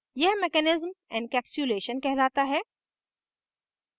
यह mechanism encapsulation कहलाता है